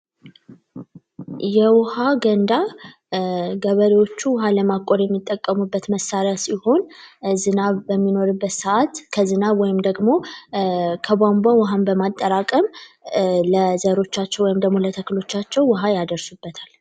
የውሃ ገንዳ ገበሬዎቹ ውሃ ለማቆር የሚጠቀሙበት መሳሪያ ሲሆን ዝናብ በሚኖርበት ሰዓት ከዝናብ ወይም ደግሞ ከቧንቧ ውሃን አጠራቅም ለዘሮቻቸው ወይም ደሞ ለተክሎቻቸው ያደርሱበታል።